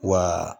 Wa